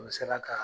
N sera ka